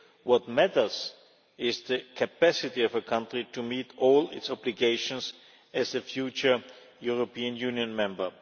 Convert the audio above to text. What matters is the capacity of a country to meet all its obligations as a future European Union member.